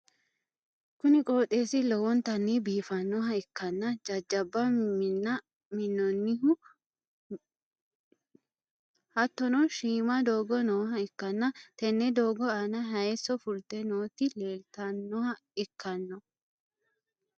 kuni qooxeessi lowontanni biifannoha ikkanna, jajjabba minna minnoonnihu hattono shiima doogo nooha ikkanna, tenne doogo aana hayiiso fulte nooti leeltannoha ikkanno.